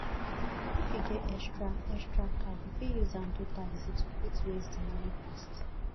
if you get extra extra car you fit use am do taxi to fit raise di money fast